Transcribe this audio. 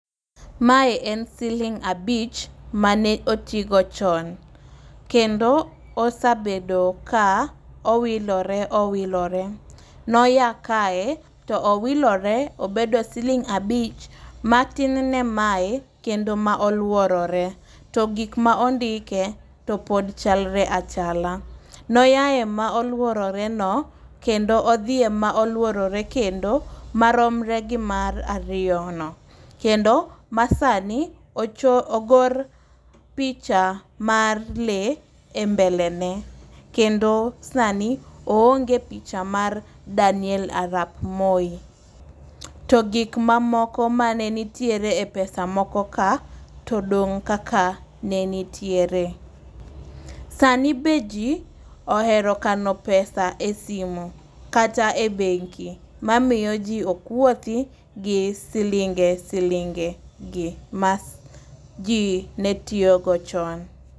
Mae en siling' abich mane oti go chon kendo osabedo ka owilore owilore. Noya kae to owilore obedo siling abich matin ne maye kendo ma oluorore to gik ma ondike to pod chalre achala. Noaye molworore no kendo odhi e moluorore kendo maromre gi mar ariyo no. Kendo ma sani ocho ogor picha mar lee e mbele ne kendo sani oonge picha mar Daniel Arap Moi .To gik mamoko mane nitiere e pesa moko ma todong' kaka ne nitiere. Sani be jii ohero kano pesa e simo kata e bengi mamiyo jiii ok wuothi gi silinge silinge gi ma jii ne tiyo go chon.